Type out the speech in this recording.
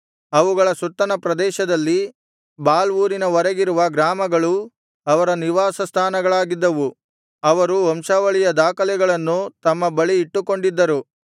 ಅವುಗಳ ಸುತ್ತಣ ಪ್ರದೇಶದಲ್ಲಿ ಬಾಲ್ ಊರಿನ ವರೆಗಿರುವ ಗ್ರಾಮಗಳೂ ಅವರ ನಿವಾಸಸ್ಥಾನಗಳಾಗಿದ್ದವು ಅವರು ವಂಶಾವಳಿಯ ದಾಖಲೆಗಳನ್ನು ತಮ್ಮ ಬಳಿ ಇಟ್ಟುಕೊಂಡಿದ್ದರು